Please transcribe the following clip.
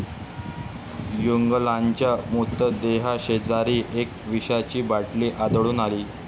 युगलांच्या मृतदेहाशेजारी एक विषाची बाटली आढळून आली.